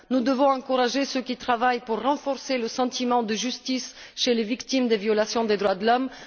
Nous devons encourager ceux qui travaillent pour renforcer le sentiment de justice chez les victimes des violations des droits de l'homme.